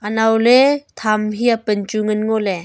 naole tham hia pan chu ngan ngole.